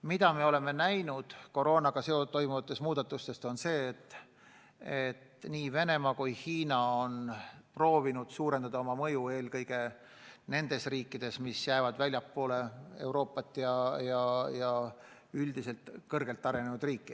Mida me oleme näinud seoses koroona tõttu toimuvate muudatustega, on see, et nii Venemaa kui ka Hiina on proovinud suurendada oma mõju eelkõige nendes riikides, mis jäävad väljapoole Euroopat või üldiselt pole kõrgelt arenenud maad.